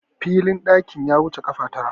filin ɗakin ya wuce kafa Tara